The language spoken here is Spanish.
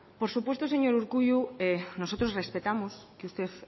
por supuesto señor urkullu nosotros respetamos que usted